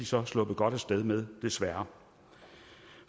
så sluppet godt af sted med desværre